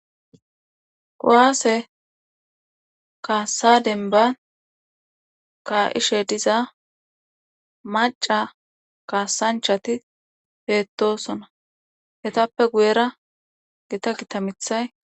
Kuwase kaasa demban ka'ishe diza macca kaasanchati beetosona. Ettappe guyera gitta gitta mithay